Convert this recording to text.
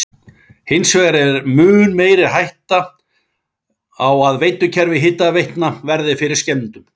Hins vegar er mun meiri hætta er á að veitukerfi hitaveitna verði fyrir skemmdum.